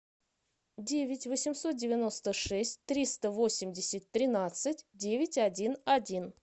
девять восемьсот девяносто шесть триста восемьдесят тринадцать девять один один